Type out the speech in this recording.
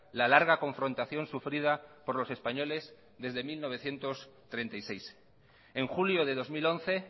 la larga confrontación sufrida por los españoles desde mil novecientos treinta y seis en julio de dos mil once